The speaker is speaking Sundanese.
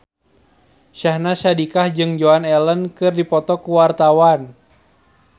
Syahnaz Sadiqah jeung Joan Allen keur dipoto ku wartawan